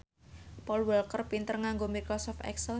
Paul Walker pinter nganggo microsoft excel